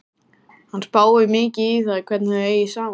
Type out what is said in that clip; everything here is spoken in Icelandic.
Hann spáir mikið í það hvernig þau eigi saman.